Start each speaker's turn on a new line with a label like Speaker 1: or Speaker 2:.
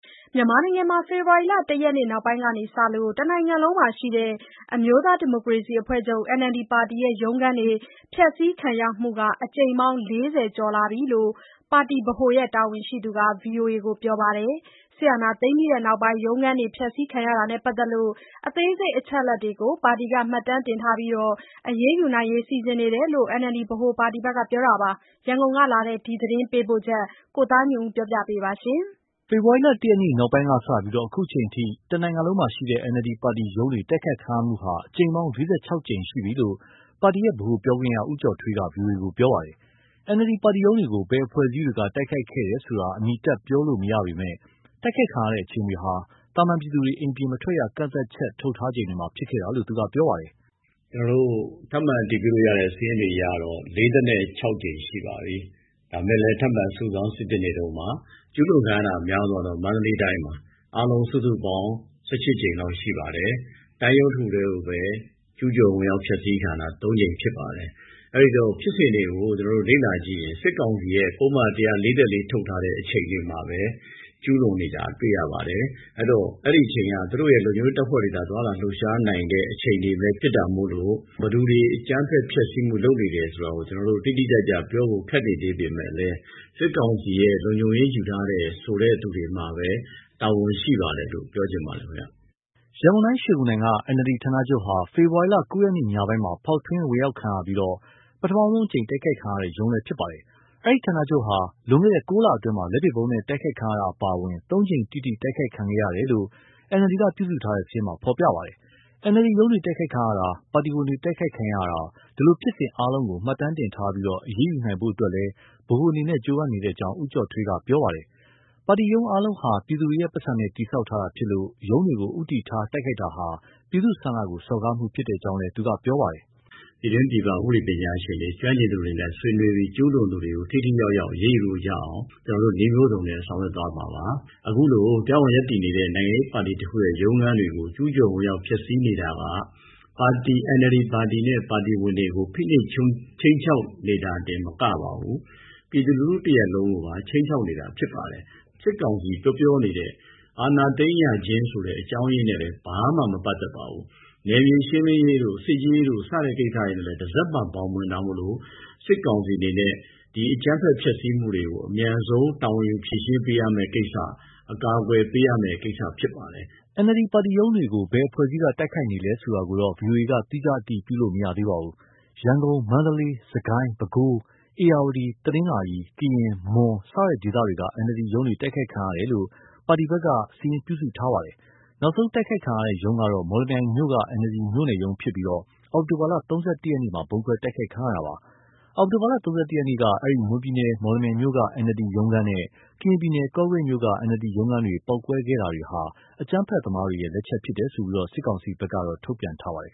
Speaker 1: မြန်မာနိုင်ငံမှာ ဖေဖော်ဝါရီလ ၁ ရက် နောက်ပိုင်းကစလို့ တနိုင်ငံလုံးမှာရှိတဲ့ အမျိုးသားဒီမိုကရေစီအဖွဲ့ချုပ် NLD ပါတီရဲ့ ရုံးခန်းတွေ ဖျက်စီးခံရမှုဟာ အကြိမ်ပေါင်း ၄၀ ကျော်လာပြီလို့ ပါတီဗဟိုရဲ့တာဝန်ရှိသူတဦးက ဗွီအိုအေကို ပြောပါတယ်။ စစ်အာဏာသိမ်းပြီးနောက်ပိုင်း ရုံးခန်းတွေ ဖျက်စီးခံရတာနဲ့ပါတ်သက်လို့ အသေးစိတ် အချက်အလက်တွေကို မှတ်တမ်းတင်ထားပြီး အရေးယူနိုင်ဖို့ စီစဉ်နေတယ်လို့ NLD ပါတီဗဟိုဘက်က ပြောပါတယ်။ ရန်ကုန်ကလာတဲ့ ဒီသတင်းပေးပို့ချက်ကို ကိုသားညွန့်ဦးက တင်ပြပေးထားပါတယ်။ ဖေဖော်ဝါရီ ၁ ရက
Speaker 2: ်နောက်ပိုင်းကစပြီး အခုချိန်အထိ တနိုင်ငံလုံးမှာရှိတဲ့ NLD ပါတီ ရုံးတွေတိုက်ခိုက်ခံရမှုဟာ အကြိမ်ပေါင်း ၄၆ ကြိမ်ရှိပြီလို့ ပါတီရဲ့ ဗဟိုပြောခွင့်ရ ဦးကျော်ထွေးက ဗွီအိုအေကို ပြောပါတယ်။ NLD ပါတီရုံးတွေကို ဘယ်အဖွဲ့ အစည်းတွေက တိုက်ခိုက်ခဲ့တယ်ဆိုတာ အမည်တပ်ပြောလို့မရပေမဲ့ တိုက်ခိုက်ခံရတဲ့ အချိန်တွေဟာ သာမန်ပြည်သူတွေ အိမ်ပြင်မထွက်ရ ကန့်သတ်ချက်ထုတ်ထားချိန်တွေမှာ ဖြစ်ပွားခဲ့တာလို့ သူကပြောပါတယ်။ “ကျနော်တို့ ထပ်မံအတည်ပြုလို့ရတဲ့ စာရင်းတွေအရတော့ ၄၆ ကြိမ် ရှိပါပြီ။ ဒါပေမဲ့လည်း ထပ်မံစုဆောင်း စိစစ်နေတုန်းပါ။ ကျူးလွန်ခံရတာ အများဆုံးကတော့ မန္တလေးတိုင်းပါ။ အားလုံးစုစုပေါင်း ၁၈ ကြိမ်လောက်ရှိပါတယ်။ တိုင်းရုံးတခုတည်းကိုပဲ ကျူးကျော်ဝင်ရောက်၊ ဖျက်စီးခံရတာ ၃ ကြိမ်ဖြစ်ပါတယ်။ အဲဒီတော့ ဖြစ်စဉ် တွေကို ကျနော်တို့ လေ့လာကြည့်ရင် စစ်ကောင်စီရဲ့ ပုဒ်မ ၁၄၄ ထုတ်ထားတဲ့ အချိန်တွေမှာပဲ ကျူးလွန်နေတာ တွေ့ရပါတယ်။ အဲဒီတော့ အဲဒီအချိန်ဟာ သူတို့ရဲ့ လုံခြုံရေးတပ်ဖွဲ့ဝင်တွေသာ သွားလာလှုပ်ရှားနိုင်တဲ့ အချိန်တွေပဲဖြစ်တာမို့လို့ ဘယ်သူတွေ အကြမ်းဖက်ဖျက်စီးမှု လုပ်နေတယ်ဆိုတာကို ကျနော်တို့ တိတိကျကျ ပြောဖို့ ခက်နေသေးပေမဲ့လည်း စစ်ကောင်စီရဲ့ လုံခြုံရေးယူထားတယ်ဆိုတဲ့ သူတွေမှာပဲ တာဝန်ရှိပါတယ်လို့ ပြောချင်ပါတယ်။” ရန်ကုန်တိုင်း ရွှေဂုံတိုင်က NLD ဌာနချုပ်ဟာ ဖေဖော်ဝါရီ ၉ ရက်ညပိုင်းမှာ ဖောက် ထွင်းဝင်ရောက်ခံရပြီး ပထမဦးဆုံး တိုက်ခိုက်ခံရတဲ့ ရုံးလည်းဖြစ်ပါတယ်။ ဒီဌာနချုပ် အပေါ် လွန်ခဲ့တဲ့ ၉လအတွင်း လက်ပစ်ဗုံးနဲ့ တိုက်ခိုက်ခံရတာအပါအဝင် သုံးကြိမ် တိတိ တိုက်ခိုက်ခံခဲ့ရတယ်လို့ NLD က ပြုစုထားတဲ့ စာရင်းမှာဖော်ပြထားပါတယ်။ NLD ရုံးတွေ တိုက်ခိုက်ခံရတာ၊ ပါတီဝင်တွေတိုက်ခိုက်ခံရတာ ဒီလိုဖြစ်စဉ် အားလုံးကို မှတ်တမ်းတင်ထားပြီး အရေးယူနိုင်ဖို့အတွက်လည်း ဗဟိုအနေနဲ့ ကြိုးပမ်းနေကြောင်း ဦးကျော်ထွေးကပြောပါတယ်။ ပါတီရုံးအားလုံးဟာ ပြည်သူတွေရဲ့ ပိုက်ဆံနဲ့ တည်ဆောက်ထားတာဖြစ်လို့ ရုံးတွေကို ဦးတည်ထား တိုက်ခိုက်တာဟာ ပြည်သူ့ဆန္ဒကို စော်ကားမှုဖြစ်ကြောင်း သူကပြောပါတယ်။ “ပြည်တွင်းပြည်ပ ဥပဒေပညာရှင်တွေ ကျွမ်းကျင်သူတွေနဲ့ ဆွေးနွေးပြီး ကျူးလွန် သူတွေကို ထိထိရောက်ရောက် အရေးယူလို့ရအောင် ကျနော်တို့ နည်းမျိုးစုံနဲ့ ဆောင်ရွက်သွားမှာပါ။ အခုလိုတရားဝင် ရပ်တည်နေတဲ့ နိုင်ငံရေးပါတီတခုရဲ့ ရုံးခန်းတွေကို ကျူးကျော်ဝင်ရောက် ဖျက်စီးနေတာက NLD ပါတီနဲ့ ပါတီဝင်တွေကိုဖိနှိပ်ခြိမ်းခြောက်နေတာတင် မကပါဘူး၊ ပြည်သူလူထု တရပ်လုံးကိုပါ ခြိမ်းခြောက်နေတာ ဖြစ်ပါတယ်။ စစ်ကောင်စီ ပြောပြောနေတဲ့ အာဏာသိမ်းရခြင်းဆိုတဲ့ အကြောင်းရင်းနဲ့လည်း ဘာမှမပတ်သက်ပါဘူး။ နယ်မြေရှင်းလင်းရေးတို့ စစ်ရေးတို့ စတဲ့ကိစ္စတွေနဲ့လည်း တစက်မှဘောင်မဝင်တာမို့ စစ်ကောင်စီအနေနဲ့ ဒီအကြမ်းဖက် ဖျက်စီးမှုတွေကို အမြန်ဆုံးတာဝန်ယူ ဖြေရှင်းပေးရမဲ့ကိစ္စ၊ အကာအကွယ်ပေးရမယ့်ကိစ္စ ဖြစ်ပါတယ်။” NLD ပါတီရုံးတွေ ဘယ်အဖွဲ့အစည်းက တိုက်ခိုက်နေလဲဆိုတာကို ဗွီအိုအေက သီးခြားအတည်ပြုလို့တော့ မရသေးပါဘူး။ရန်ကုန်၊ မန္တလေး၊ စစ်ကိုင်း၊ ပဲခူး၊ ဧရာဝတီ၊ တနင်္သာရီ၊ ကရင်၊ မွန် စတဲ့ဒေသတွေက NLD ရုံးတွေ တိုက်ခိုက်ခံရတယ်လို့ ပါတီဘက်က စာရင်းပြုစုထားတာပါ။ နောက်ဆုံးတိုက်ခိုက်ခံရတဲ့ ရုံးကတော့ မော်လမြို့က NLD မြို့နယ်ရုံးဖြစ်ပြီး အောက်တိုဘာ ၃၁ ရက်မှာ ဗုံးခွဲတိုက်ခိုက် ခံရတာပါ။ အောက်တိုဘာ ၃၁ ရက်က မွန်ပြည်နယ် မော်လမြိုင်မြို့နယ်က NLD ရုံးခန်းနဲ့ ကရင်ပြည်နယ် ကော့ကရိတ်မြို့က NLD ရုံးခန်းတွေမှာ ပေါက်ကွဲခဲ့တာတွေဟာ အကြမ်းဖက်သမားတွေရဲ့ လက်ချက်လို့ စစ်ကောင်စီက ထုတ်ပြန်ထားပါတယ်